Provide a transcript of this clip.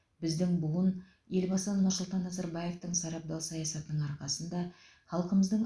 біздің буын елбасы нұрсұлтан назарбаевтың сарабдал саясатының арқасында халқымыздың